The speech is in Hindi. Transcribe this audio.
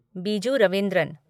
बीजू रवींद्रन